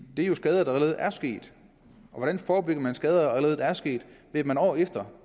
er jo skader der allerede er sket hvordan forebygger man skader der allerede er sket ved året efter